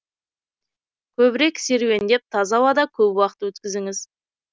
көбірек серуендеп таза ауада көп уақыт өткізіңіз